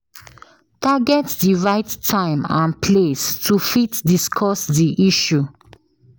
target di right time and place to fit discuss di issue